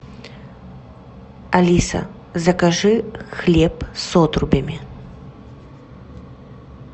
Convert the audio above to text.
алиса закажи хлеб с отрубями